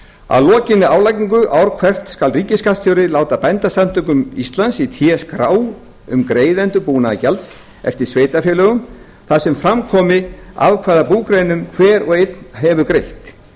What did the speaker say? að lokinni álagningu ár hvert skal ríkisskattstjóri láta bændasamtökum íslands í té skrá um greiðendur búnaðargjalds eftir sveitarfélögum þar sem fram komi af hvaða búgreinum hver og einn hefur greitt